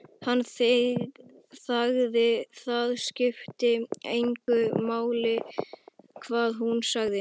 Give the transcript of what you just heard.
Hann þagði, það skipti engu máli hvað hún sagði.